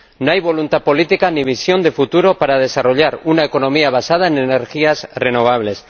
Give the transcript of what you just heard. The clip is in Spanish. no hay voluntad política ni visión de futuro para desarrollar una economía basada en energías renovables